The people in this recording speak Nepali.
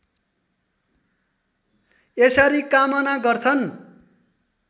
यसरी कामना गर्छन्